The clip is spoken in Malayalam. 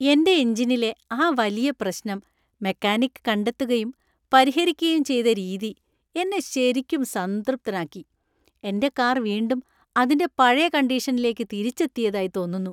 എന്‍റെ എഞ്ചിനിലെ ആ വലിയ പ്രശ്നം മെക്കാനിക് കണ്ടെത്തുകയും പരിഹരിക്കുകയും ചെയ്ത രീതി എന്നെ ശരിക്കും സംതൃപ്തനാക്കി; എന്‍റെ കാർ വീണ്ടും അതിന്റെ പഴയ കണ്ടീഷനിലേക്ക് തിരിച്ചെത്തിയതായി തോന്നുന്നു.